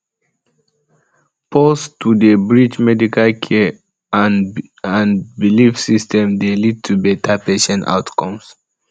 pause to dey bridge medical care ah and belief systems dey lead to better patient outcomes